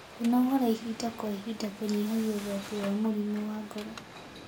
Kwĩnogora ĩhĩda kwa ĩhĩda kũnyĩhagĩa ũgwatĩ wa mũrĩmũ wa ngoro